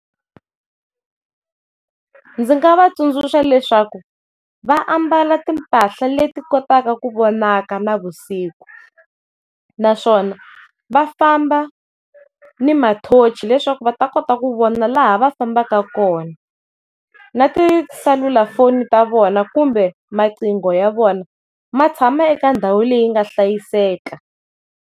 Ndzi nga va tsundzuxa leswaku va ambala timpahla leti kotaka ku vonaka na vusiku naswona va famba ni ma torch leswaku va ta kota ku vona laha fambaka kona, na tiselulafoni ta vona kumbe maqingo ya vona ma tshama eka ndhawu leyi nga hlayiseka.